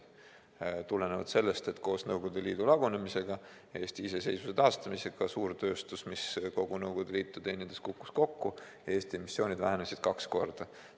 See tulenes sellest, et Nõukogude Liidu lagunemise ja Eesti iseseisvuse taastamisega suurtööstus, mis teenindas tervet Nõukogude Liitu, kukkus kokku ja Eesti emissioon vähenes kaks korda.